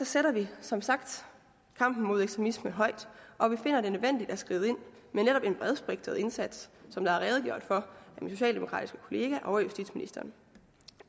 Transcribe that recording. sætter vi som sagt kampen mod ekstremisme højt og vi finder det nødvendigt at skride ind med netop en bredspektret indsats som der er redegjort for af den socialdemokratiske kollega og af justitsministeren